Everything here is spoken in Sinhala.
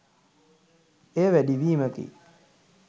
එය වැඩිවීමකි